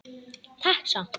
Takk samt.